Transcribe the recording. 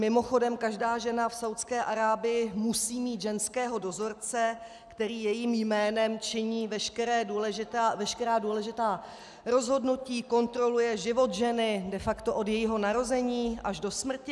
Mimochodem, každá žena v Saúdské Arábii musí mít ženského dozorce, který jejím jménem činí veškerá důležitá rozhodnutí, kontroluje život ženy de facto od jejího narození až do smrti.